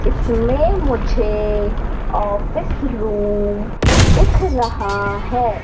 इसमें मुझे office room दिख रहा है।